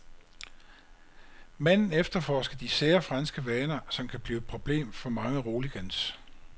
Manden efterforsker de sære franske vaner, som kan blive et problem for mange roligans.